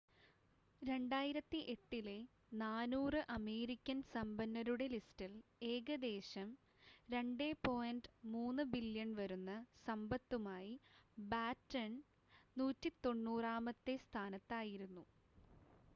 2008-ലെ 400 American സമ്പന്നരുടെ ലിസ്റ്റിൽ ഏകദേശം $2.3 ബില്യൺ വരുന്ന സമ്പത്തുമായി ബാറ്റൺ 190-മത്തെ സ്ഥാനത്തായിരുന്നു